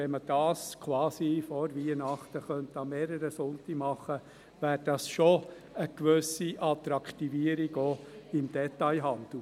Wenn man das quasi vor Weihnachten an mehreren Sonntagen machen könnte, wäre das schon eine gewisse Attraktivierung, auch für den Detailhandel.